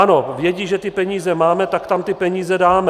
Ano, vědí, že ty peníze máme, tak tam ty peníze dáme.